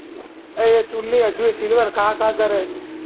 એ છુનની હજી એ silver ખાં ખાં જા રહા હે